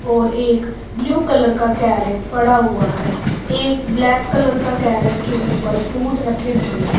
और एक blue colour का कैरेट पड़ा हुआ है एक ब्लैक कलर का कैरेट के ऊपर फ्रूट रखे हुए हैं।